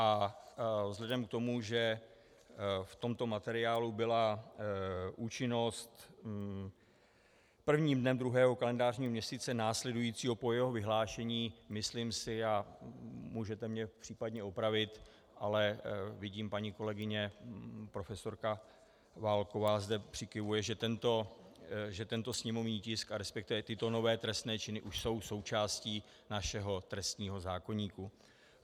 A vzhledem k tomu, že v tomto materiálu byla účinnost prvním dnem druhého kalendářního měsíce následujícího po jeho vyhlášení, myslím si, a můžete mě případně opravit, ale vidím, paní kolegyně profesorka Válková zde přikyvuje, že tento sněmovní tisk a respektive tyto nové trestné činy už jsou součástí našeho trestního zákoníku.